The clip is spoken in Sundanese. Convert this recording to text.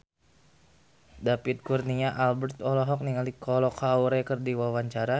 David Kurnia Albert olohok ningali Kolo Taure keur diwawancara